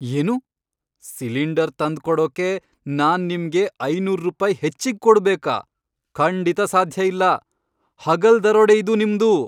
ಏನು?! ಸಿಲಿಂಡರ್ ತಂದ್ಕೊಡೋಕೆ ನಾನ್ ನಿಮ್ಗೆ ಐನೂರ್ ರುಪಾಯಿ ಹೆಚ್ಚಿಗ್ ಕೊಡ್ಬೇಕಾ? ಖಂಡಿತ ಸಾಧ್ಯ ಇಲ್ಲ. ಹಗಲ್ ದರೋಡೆ ಇದು ನಿಮ್ದು!